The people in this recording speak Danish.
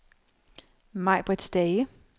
Majbrit Stage